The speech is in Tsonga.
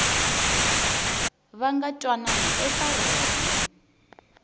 va nga twanana eka rona